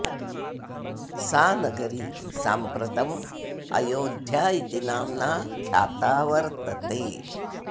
सा नगरी साम्प्रतम् अयोध्या इति नाम्ना ख्याता वर्तते